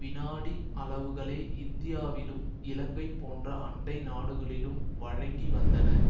விநாடி அலவுகளே இந்தியாவிலும் இலங்கை போன்ற அண்டை நாடுகளிலும் வழங்கி வந்தன